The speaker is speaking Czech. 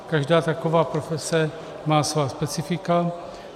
Každá taková profese má svá specifika.